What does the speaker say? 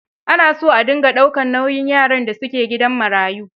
Ana son a dinga daukar nauyin yaran da su ke gidan marayu.